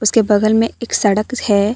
के बगल में एक सड़क है।